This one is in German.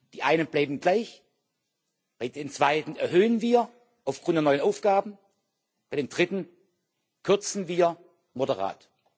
Die einen bleiben gleich, bei den zweiten erhöhen wir aufgrund der neuen Aufgaben, bei den dritten kürzen wir moderat.